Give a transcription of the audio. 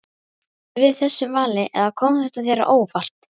Bjóstu við þessu vali eða kom þetta þér á óvart?